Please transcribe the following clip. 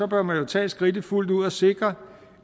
bør man jo tage skridtet fuldt ud og sikre